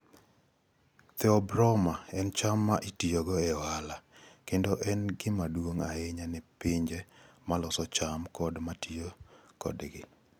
(Theobroma cacao) en cham ma itiyogo e ohala, kendo en gima duong' ahinya ne pinje ma loso cham kod ma tiyo kodgi.